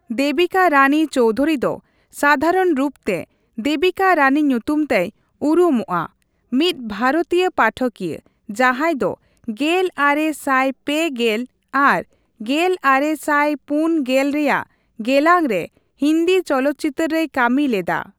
ᱫᱮᱵᱤᱠᱟ ᱨᱟᱱᱤ ᱪᱳᱣᱫᱷᱩᱨᱤ ᱫᱚ, ᱥᱟᱫᱷᱟᱨᱚᱱ ᱨᱩᱯᱛᱮ ᱫᱮᱵᱤᱠᱟ ᱨᱟᱱᱤ ᱧᱩᱛᱩᱢᱛᱮᱭ ᱩᱨᱩᱢᱚᱜᱼᱟ, ᱢᱤᱫ ᱵᱷᱟᱨᱚᱛᱤᱭᱚ ᱯᱟᱴᱷᱚᱠᱤᱭᱟᱹ, ᱡᱟᱸᱦᱟᱭ ᱫᱚ ᱜᱮᱞ ᱟᱨᱮ ᱥᱟᱭ ᱯᱮ ᱜᱮᱞ ᱟᱨ ᱜᱮᱞ ᱟᱨᱮ ᱥᱟᱭ ᱯᱩᱱ ᱜᱮᱞᱼᱨᱮᱭᱟᱜ ᱜᱮᱞᱟᱝ ᱨᱮ ᱦᱤᱱᱫᱤ ᱪᱚᱞᱚᱛᱪᱤᱛᱟᱹᱨ ᱨᱮᱭ ᱠᱟᱹᱢᱤ ᱞᱮᱫᱟ ᱾